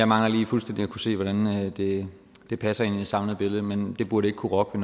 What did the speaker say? mangler jeg lige fuldstændigt at kunne se hvordan det det passer ind i det samlede billede men det burde ikke kunne rokke